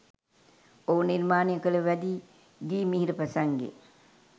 ඔහු නිර්මාණය කළ වැදි ගී මිහිර ප්‍රසංගය